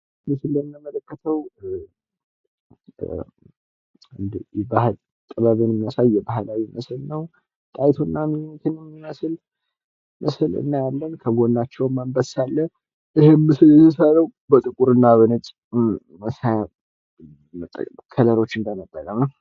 ይህ እንደምንመለከተው የባህል ጥበብን የሚያሳይ የባህላዊ ምስል ነው። ጠሀይቱንና ሚኒሊክን የሚመስል ምስል እያያለን ከጎናቸውም አንበሳ አለ። ይሄም ምስል የሚሰራው በጥቁርና በነጭ መሳያ ከለሮችን በመጠቀም ነው።